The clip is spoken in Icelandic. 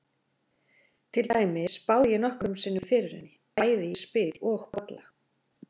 Til dæmis spáði ég nokkrum sinnum fyrir henni, bæði í spil og bolla.